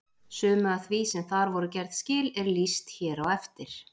Sumu af því sem þar voru gerð skil er lýst hér á eftir.